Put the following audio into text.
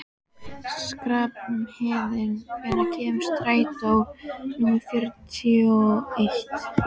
Skarphéðinn, hvenær kemur strætó númer fjörutíu og eitt?